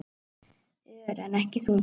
Ör, en ekki þungur.